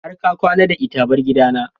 Har ka kwana da ita! bar gidana.